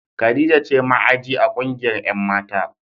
Khadijah ce ma'aji a kungiyar 'yan' mata.